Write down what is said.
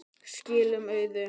Skilum auðu.